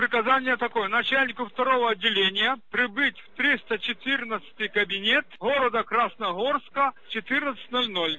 приказание такое начальнику второго отделения прибыть в триста четырнадцатый кабинет города красногорска в четырнадцать ноль ноль